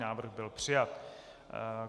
Návrh byl přijat.